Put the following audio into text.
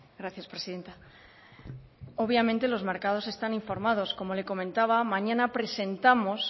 gracias presidenta obviamente los mercados están informados como le comentaba mañana presentamos